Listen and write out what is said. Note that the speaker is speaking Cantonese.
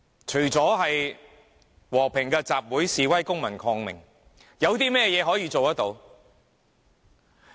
除了和平的集會、示威、公民抗命，有甚麼可以做得到？